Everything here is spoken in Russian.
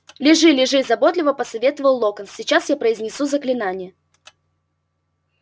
лежи лежи заботливо посоветовал локонс сейчас я произнесу заклинание